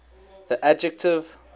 the adjective